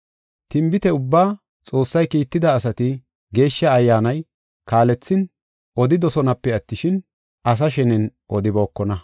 Tinbite ubbaa, Xoossay kiitida asati Geeshsha Ayyaanay kaalethin, odidosonape attishin, asa shenen odibookona.